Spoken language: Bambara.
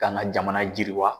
K'an ka jamana jiriwa.